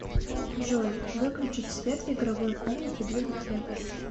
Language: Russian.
джой выключить свет в игровой комнате для детей